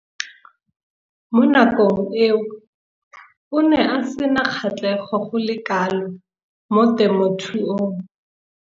Mo nakong eo o ne a sena kgatlhego go le kalo mo temothuong.